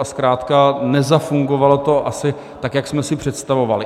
A zkrátka nezafungovalo to asi tak, jak jsme si představovali.